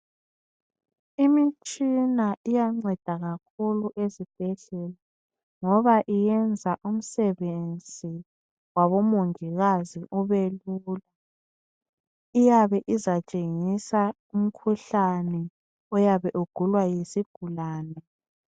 Imitshina iyanceda kakhulu ezibhedlela ngoba iyenza umsebenzi wabomongikazi ubelula iyabe izatshengisa umkhuhlane oyabe ugulwa yisigulane